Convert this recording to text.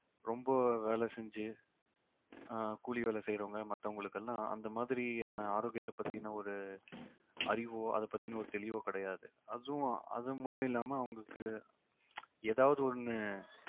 ரொம்ப வேலை செஞ்சு ஆஹ் கூலி வேலை செய்யறவங்க மத்தவங்களுக்கெல்லாம் அந்த மாதிரியான ஆரோக்கியத்தைப் பத்தின ஒரு அறிவோ அதைப் பத்தின ஒரு தெளிவோ கிடையாது அதுவும் அது மட்டும் இல்லாம அவங்களுக்கு ஏதாவது ஒண்ணு